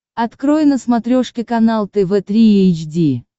открой на смотрешке канал тв три эйч ди